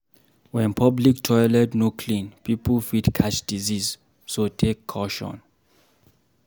When public toilet no clean, pipo fit catch disease so take caution